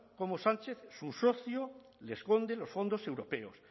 como sánchez su socio le esconde los fondos europeos